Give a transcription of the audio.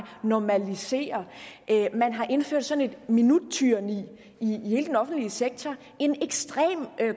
normalisere man har indført sådan et minuttyranni i hele den offentlige sektor en ekstrem